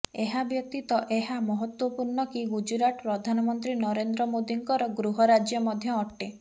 ଏହା ବ୍ୟତୀତ ଏହା ମହତ୍ତ୍ୱପୂର୍ଣ୍ଣ କି ଗୁଜରାତ ପ୍ରଧାନମନ୍ତ୍ରୀ ନରେନ୍ଦ୍ର ମୋଦୀଙ୍କର ଗୃହ ରାଜ୍ୟ ମଧ୍ୟ ଅଟେ